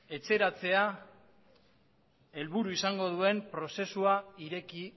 etxeratzea helburu izango duen prozesua ireki